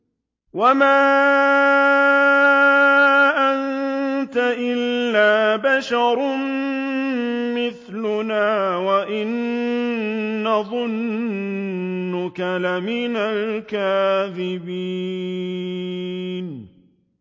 وَمَا أَنتَ إِلَّا بَشَرٌ مِّثْلُنَا وَإِن نَّظُنُّكَ لَمِنَ الْكَاذِبِينَ